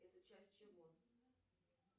это часть чего